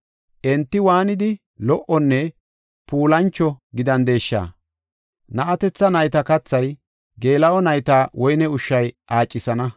Enti waanidi lo77onne puulancho gidandesha! Na7atetha nayta kathay, geela7o nayta woyne ushshay aacisana.